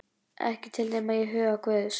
Ekki til nema í huga guðs.